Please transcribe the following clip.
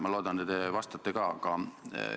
Ma loodan, et te ka vastate mulle.